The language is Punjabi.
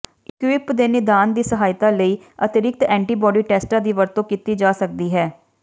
ਇਕੁਇਪ ਦੇ ਨਿਦਾਨ ਦੀ ਸਹਾਇਤਾ ਲਈ ਅਤਿਰਿਕਤ ਐਂਟੀਬਾਡੀ ਟੈਸਟਾਂ ਦੀ ਵਰਤੋਂ ਕੀਤੀ ਜਾ ਸਕਦੀ ਹੈ